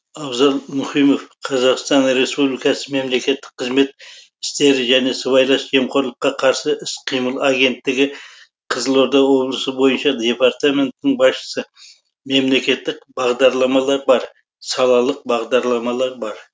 абзал мұхимов қр мемлекеттік қызмет істері және сыбайлас жемқорлыққа қарсы іс қимыл агенттігі қызылорда облысы бойынша департаментінің басшысы мемлекеттік бағдарламалар бар салалық бағдарламалар бар